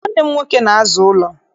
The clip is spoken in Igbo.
Nwanne m nwoke na-aza ụlọ.